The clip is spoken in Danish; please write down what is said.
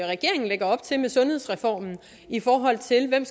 regeringen lægger op til med sundhedsreformen i forhold til hvem